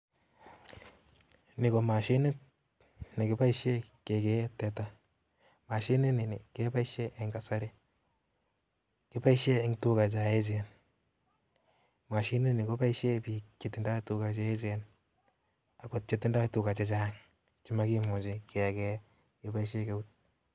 Ni ko mashinit nekiboishien kegee tetaa, mashini nii keboishien en kasarii. Keboishien eng tugaa cheechen, mashini ni anyun koboishien biik chetinye tugaa che echen ak chetindo chegoo chechang chemokimuchi kegei